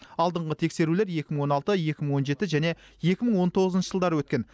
алдыңғы тексерулер екі мың он алты екі мың он жеті және екі мың он тоғызыншы жылдары өткен